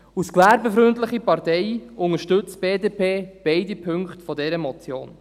Als gewerbefreundliche Partei unterstützt die BDP beide Punkte dieser Motion.